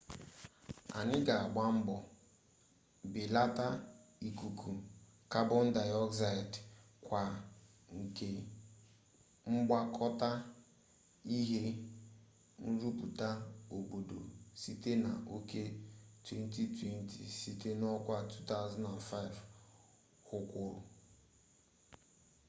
anyị ga-agba mbọ belata ikuku kabon dioxide kwa nke mkpokọta ihe nrụpụta obodo site na oke 2020 site n'ọkwa 2005 hu kwuru